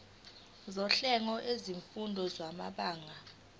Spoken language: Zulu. sohlelo lwezifundo samabanga